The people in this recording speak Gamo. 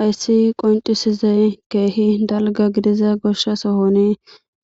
Hayssi qoncisizey keehi dalga gidiza goshsha sohoni